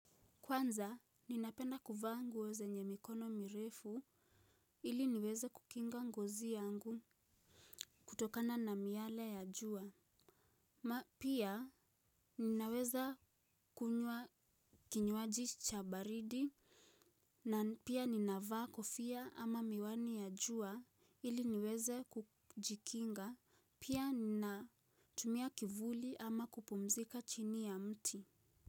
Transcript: Kwanza, ninapenda kuvaa nguo zenye mikono mirefu ili niweze kukinga ngozi yangu kutokana na miale ya jua. Pia, ninaweza kunywa kinywaji cha baridi na pia ninavaa kofia ama miwani ya jua ili niweze kujikinga pia natumia kivuli ama kupumzika chini ya mti.